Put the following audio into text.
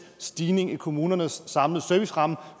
stigning i kommunernes samlede serviceramme